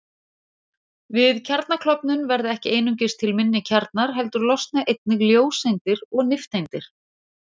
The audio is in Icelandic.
Við kjarnaklofnun verða ekki einungis til minni kjarnar heldur losna einnig ljóseindir og nifteindir.